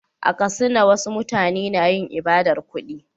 A Katsina, wasu mutane na yin ibadar kudi.